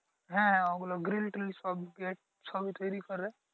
হ্যাঁ ওগুলো গ্রিল ট্রিল সব গেট সবই তৈরি করে ।